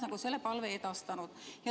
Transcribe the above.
" Ma olen selle palve edastanud.